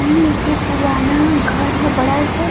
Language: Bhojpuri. इ एगो पुराना घर ह बड़ा सा।